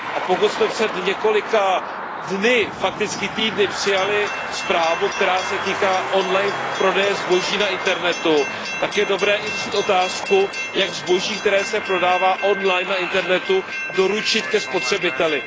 Pokud jsme před několika dny, fakticky týdny, přijali zprávu, která se týká on line prodeje zboží na internetu, tak je dobré i řešit otázku, jak zboží, které se prodává on line na internetu, doručit ke spotřebiteli.